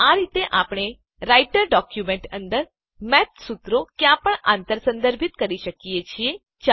તો આ રીતે આપણે રાઈટર ડોક્યુંમેંટ અંદર મેથ સુત્રોને ક્યાપણ આંતર સંદર્ભિત કરી શકીએ છીએ